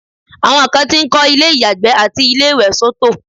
àwọn kan ti ń kọ́ ilé ìyàgbẹ́ àti ilé ìwẹ̀ soto